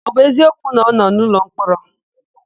Ọ bụ eziokwu na ọ nọ n'ụlọmkpọrọ?